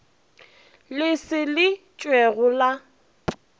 le se le tšhwego la